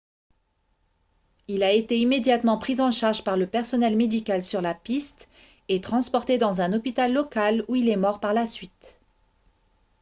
il a été immédiatement pris en charge par le personnel médical sur la piste et transporté dans un hôpital local où il est mort par la suite